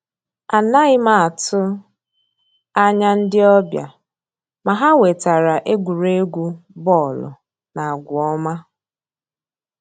Ànàghị́ m àtụ́ ànyá ndí ọ́bị̀à, mà ha wètàra ègwùrègwù bọ́ọ̀lụ́ na àgwà ọ́ma.